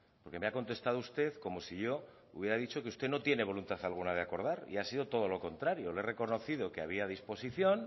porque me ha contestado usted como si yo hubiera dicho que usted no tiene voluntad alguna de acordar y ha sido todo lo contrario le he reconocido que había disposición